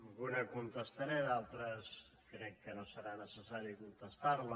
alguna la contestaré d’altres crec que no serà necessari contestar les